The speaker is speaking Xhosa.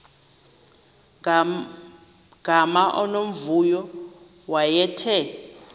gama unomvuyo wayethe